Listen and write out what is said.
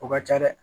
O ka ca dɛ